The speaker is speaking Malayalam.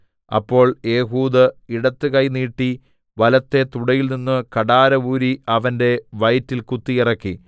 അപ്പോൾ ഏഹൂദ് ഇടത്ത് കൈ നീട്ടി വലത്തെ തുടയിൽ നിന്നു കഠാര ഊരി അവന്റെ വയറ്റിൽ കുത്തിയിറക്കി